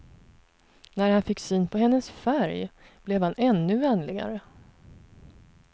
När han fick syn på hennes färg blev han ännu vänligare.